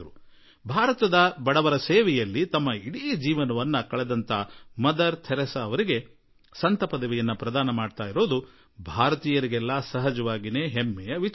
ಭಾರತದ ಬಡವರ ಸೇವೆ ಮಾಡಿದ ಮದರ್ ಥೆರೇಸಾ ಅವರಿಗೆ ಸಂತರ ಉಪಾದಿ ಪ್ರಾಪ್ತಿಯಾಗುತ್ತದೆ ಎಂದಾಗ ಸಮಸ್ತ ಭಾರತೀಯರೂ ಹೆಮ್ಮೆಪಡುವುದು ಸ್ವಾಭಾವಿಕವಾಗಿದೆ